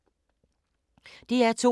DR2